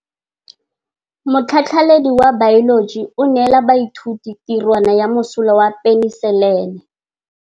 Motlhatlhaledi wa baeloji o neela baithuti tirwana ya mosola wa peniselene.